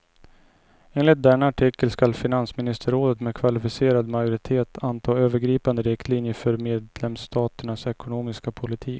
Enligt denna artikel skall finansministerrådet med kvalificerad majoritet anta övergripande riktlinjer för medlemsstaternas ekonomiska politik.